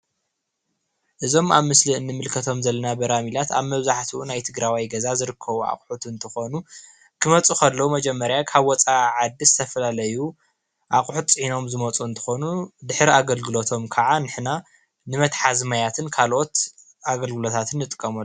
እዞም እንምልከቶም ዘለና በራመላት ኣብ መብዛሕትኦም ናይ ትግራዋይ ገዛ ዝርከቡ ኣቅሑት እንትኮኑ ክመፁ ከለዉ መጀመርያ ካብ ወፃኢ ዓዲ ዝተፈላለዩ ኣቁሕት ፂዒኖም ዝመፁ እንትኮኑ ድሕሪ ኣገልግለቶም ከዓ ንሕና ንመትሓዚ ማያትን ንካልኦት ኣገልግሎታትን ንጥቀመሉ፡፡